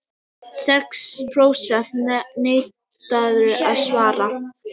Sex prósent neituðu að svara